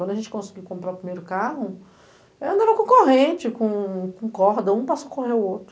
Quando a gente conseguiu comprar o primeiro carro, é andava com corrente, com com corda, um para socorrer o outro.